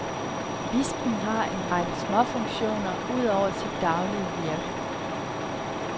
Bispen har en række småfunktioner udover sit daglige virke.